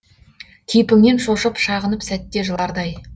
кейпіңнен шошып шағынып сәтте жылардай